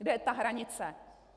Kde je ta hranice?